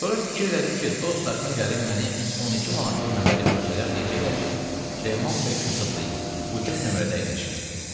Sonra fikirləşdim ki, dost daşına gəlib məni 12 manatlıq nömrədə görsələr deyəcəklər ki, Süleyman bəy kasıblayıb, ucuz nömrədə əyləşir.